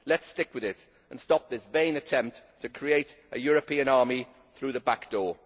Let us stick with it and stop this vain attempt to create a European army through the back door.